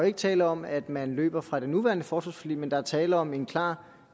ikke tale om at man løber fra det nuværende forsvarsforlig men der er tale om en klar